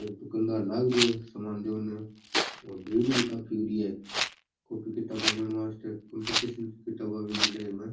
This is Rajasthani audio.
एक दुकान दार लग रियो है सामान देयो ने और भीड़ भी काफी हो री है कॉपी किताबा लेनो वास्ते कम्पटीशन की किताबा भी मिले इमे।